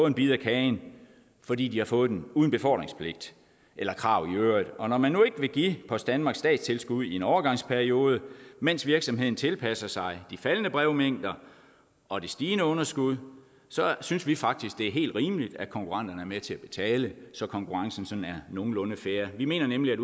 en bid af kagen fordi de har fået den uden befordringspligt eller krav i øvrigt og når man nu ikke vil give post danmark statstilskud i en overgangsperiode mens virksomheden tilpasser sig de faldende brevmængder og det stigende underskud så synes vi faktisk at det er helt rimeligt at konkurrenterne er med til at betale så konkurrencen sådan er nogenlunde fair vi mener nemlig at